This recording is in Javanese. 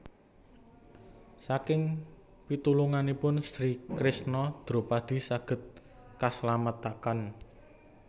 Saking pitulunganipun Sri Kresna Dropadi saged kaslametaken